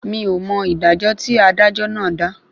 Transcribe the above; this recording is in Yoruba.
Mí ò mọ ìdájọ́ tí adájọ́ náà dà